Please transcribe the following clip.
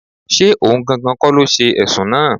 Ṣé ohun gangan kọ́ ló ṣe Ẹ̀sùn náà?